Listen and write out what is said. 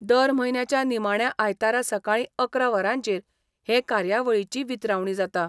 दर म्हयन्याच्या निमाण्या आयतारा सकाळी अकरा वरांचेर हे कार्यावळीची वितरावणी जाता.